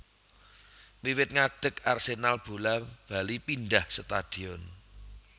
Wiwit ngadeg Arsenal bola bali pindah stadion